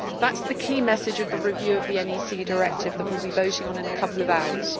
That is the key message of the review of the NEC Directive that will be voting on in a couple of hours.